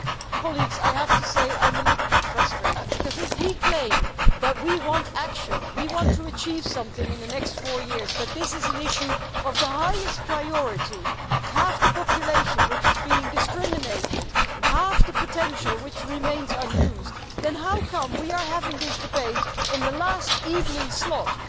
But, colleagues, I have to say that I am a little bit frustrated because, if we claim that we want action, that we want to achieve something in the next four years, that this is an issue of the highest priority, that half the population is being discriminated against and half the potential remains unused, then how come we are having this debate in the last evening slot?